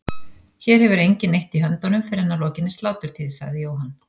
Hér hefur enginn neitt í höndunum fyrr en að lokinni sláturtíð, sagði Jóhann.